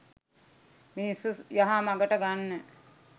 මිනිස්සු යහ මගට ගන්න.